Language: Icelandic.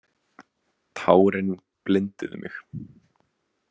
Tárin blinduðu mig.